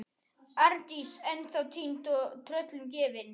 Arndís ennþá týnd og tröllum gefin.